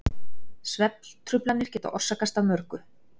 svefntruflanir geta orsakast af mörgu